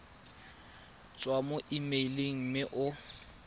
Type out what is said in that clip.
tswa mo emeileng mme o